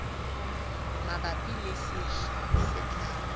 mabapi le sehla se tlang